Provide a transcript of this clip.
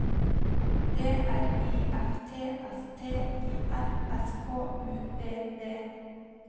D R I F T S T I L S K U D D